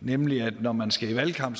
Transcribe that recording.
nemlig at når man skal i valgkamp